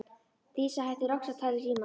Dísa hættir loks að tala í símann.